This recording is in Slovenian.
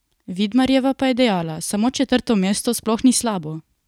Vidmarjeva pa je dejala: "Samo četrto mesto sploh ni slabo.